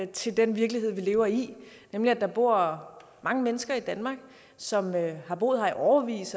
til den virkelighed vi lever i nemlig at der bor mange mennesker i danmark som har boet her i årevis